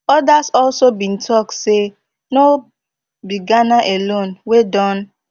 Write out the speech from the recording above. odas also bin tok say no be ghana alone wey don